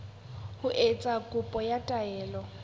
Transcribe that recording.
ho etsa kopo ya taelo